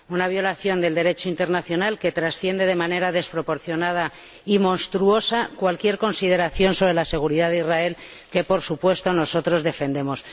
Una violación del Derecho internacional que trasciende de manera desproporcionada y monstruosa cualquier consideración sobre la seguridad de Israel, que, por supuesto, nosotros defendemos.